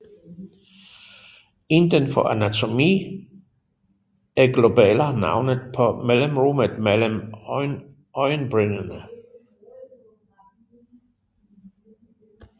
Inden for anatomi er Glabella navnet på mellemrummet mellem øjenbrynene